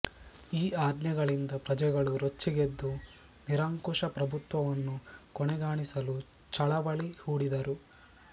ಈ ಆಜ್ಞೆಗಳಿಂದ ಪ್ರಜೆಗಳು ರೊಚ್ಚಿಗೆದ್ದು ನಿರಂಕುಶಪ್ರಭುತ್ವವನ್ನು ಕೊನೆಗಾಣಿಸಲು ಚಳವಳಿ ಹೂಡಿದರು